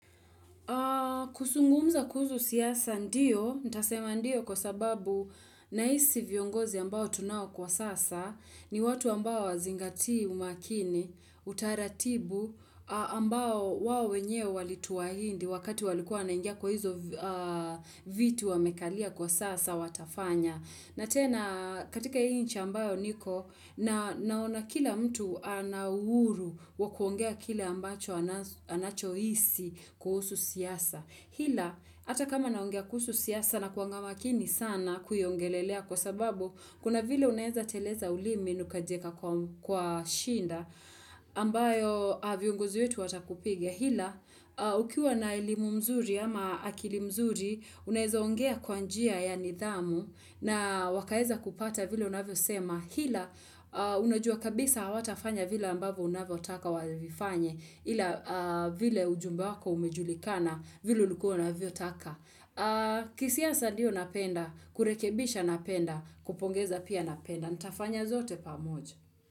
Kwa kuzungumza kuhusu siasa ndiyo, ntasema ndiyo kwa sababu nahisi viongozi ambao tunao kwa sasa ni watu ambao hawazingatii umakini, utaratibu ambao wao wenyewe walituhaidi wakati walikuwa wanaingia kwa hizo viti wamekalia kwa sasa watafanya. Na tena katika hii nchi ambayo niko naona kila mtu ana uhuru wa kuongea kile ambacho anachohisi kuhusu siyasa. Hila, ata kama naongea kuhusu siyasa nakuanga makini sana kuiongelelea kwa sababu kuna vile unaeza teleza ulimi na ukajieka kwa shinda ambayo vyiongozi wetu watakupiga. Hila, ukiwa na elimu mzuri ama akili mzuri, unaweza ongea kwa njia ya nidhamu na wakaeza kupata vile unavyo sema. Hila, unajua kabisa hawatafanya vile ambavyo unavyo taka wavifanye ila vile ujumbe wako umejulikana vile ulikua unavyo taka. Kisiasa ndiyo napenda, kurekebisha napenda, kupongeza pia napenda. Ntafanya zote pamoja.